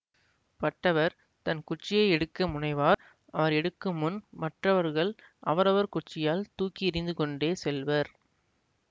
பட்டவர் தன் குச்சியை எடுக்க முனைவார் அவர் எடுக்குமுன் மற்றவர்கள் அவரவர் குச்சியால் தூக்கி எறிந்துகொண்டே செல்வர்